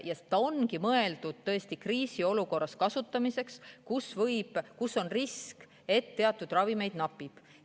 See ongi mõeldud kriisiolukorras kasutamiseks, kui on risk, et teatud ravimeid napib.